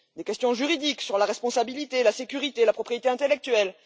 Des questions juridiques sur la responsabilité, la sécurité et la propriété intellectuelle